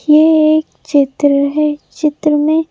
यह एक चित्र है चित्र में--